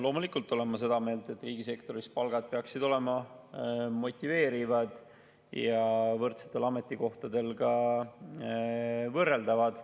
Loomulikult olen ma seda meelt, et riigisektoris peaksid palgad olema motiveerivad ja võrdsetel ametikohtadel ka võrreldavad.